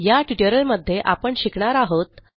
या ट्युटोरियलमध्ये आपण शिकणार आहोत